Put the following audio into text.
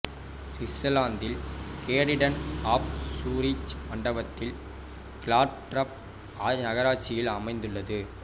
சுவிட்சர்லாந்தில் canton of Zurich மண்டலத்தில் Glattbrugg நகராட்சியில் அமைந்துள்ளது